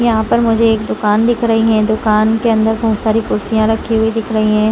यहाँ पर मुझे एक दुकान दिख रही है दुकान के अंदर बहुत सारी कुर्सियां रखी हुई दिख रही है।